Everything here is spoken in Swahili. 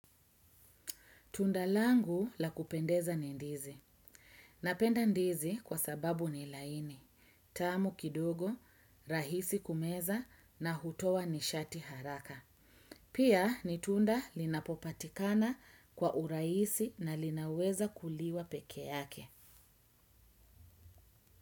Tunda langu la kupendeza ni ndizi. Napenda ndizi kwa sababu ni laini. Tamu kidogo, rahisi kumeza na hutoa nishati haraka. Pia ni tunda linapopatikana kwa urahisi na linaweza kuliwa peke yake.